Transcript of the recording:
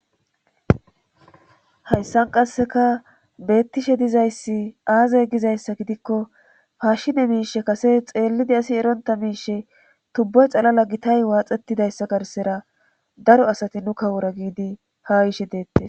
Hayssan qasseka beettishe dizayssi aazay gizayssa gidikko paashshine miishe kase xeellidi asi eronta miishe tubboy xalala gitay waaxettidayssa garsera daro asati nu kawora giidi ha Yi ishe deette